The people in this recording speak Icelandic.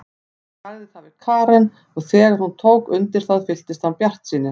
Hann sagði það við Karen og þegar hún tók undir það fylltist hann bjartsýni.